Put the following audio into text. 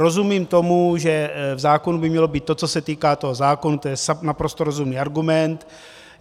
Rozumím tomu, že v zákonu by mělo být to, co se týká toho zákona, to je naprosto rozumný argument.